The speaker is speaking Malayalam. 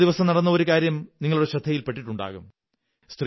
കഴിഞ്ഞ ദിവസം നടന്ന ഒരു കാര്യം നിങ്ങളുടെ ശ്രദ്ധയിൽ പെട്ടിട്ടുണ്ടാകും